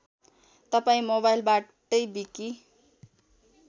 तपाईँ मोवाइलबाटै विकि